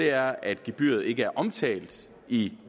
er at gebyret ikke er omtalt i